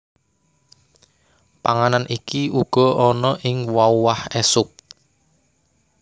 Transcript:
Panganan iki uga ana ing wauah esuk